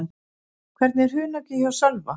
Hvernig er hungrið hjá Sölva?